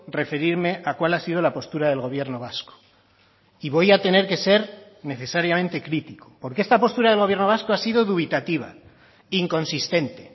referirme a cuál ha sido la postura del gobierno vasco y voy a tener que ser necesariamente crítico porque esta postura del gobierno vasco ha sido dubitativa inconsistente